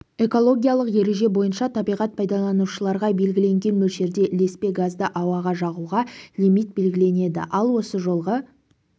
экологиялық ереже бойынша табиғат пайдаланушыларға белгіленген мөлшерде ілеспе газды ауаға жағуға лимит белгіленеді ал осы жолғы